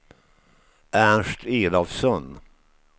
Ernst Elofsson